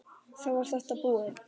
Þá var þetta búið.